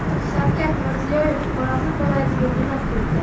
Shavkat Mirziyoyev Xorazm viloyatiga jo‘nab ketdi.